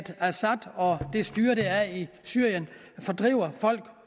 assad og det styre der er i syrien fordriver folk